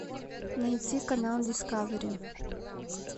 найти канал дискавери